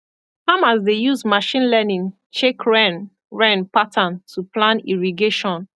farmers dey use machine learning check rain rain pattern to plan irrigation